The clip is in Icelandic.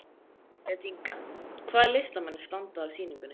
Elísabet Inga: Hvaða listamenn standa að sýningunni?